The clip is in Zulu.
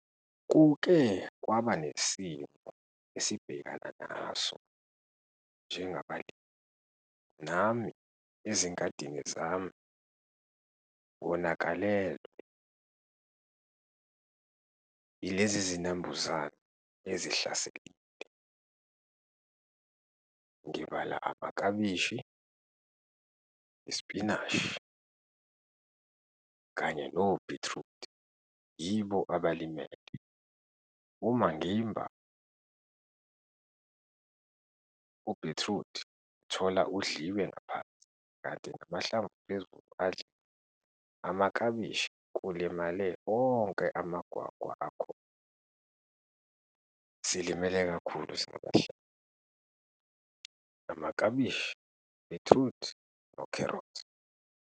Kuke kwaba nesimo esibhekana naso njengabalimi, nami ezingadini zami ngonakalelwa yilezi zinambuzane ezihlaselile. Ngibala amakabishi, isipinashi kanye nobhithrudi, yibo abalimele. Uma ngimba ubhithrudi, ngithola udliwe ngaphansi kanti namahlamvu aphezulu adliwe. Amakabishi, kulimale wonke amagwagwa akhona. Silimele kakhulu singabahlali, amaklabishi bhithrudi, nokherothi.